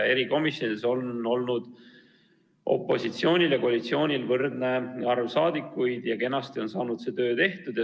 Erikomisjonides on olnud opositsioonil ja koalitsioonil võrdne arv esindajaid ja kenasti on saanud see töö tehtud.